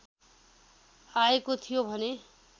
आएको थियो भने